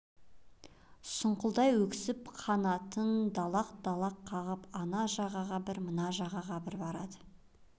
сұңқылдай өксіп қанатын далақ-далақ қағып ана жағаға бір мына жағаға бір барады